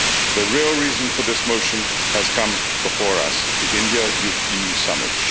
The real reason for this motion has come before us the India EU summit.